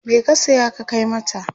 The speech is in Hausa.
me ka saya ka Kai mata?